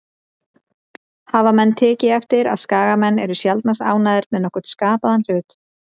Hafa menn tekið eftir að Skagamenn eru sjaldnast ánægðir með nokkurn skapaðan hlut?